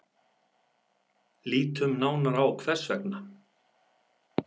Lítum nánar á hvers vegna.